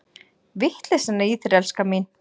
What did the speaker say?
Vitleysan í þér, elskan mín!